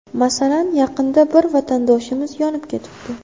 Masalan, yaqinda bir vatandoshimiz yonib ketibdi.